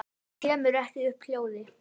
Kemur ekki upp hljóði.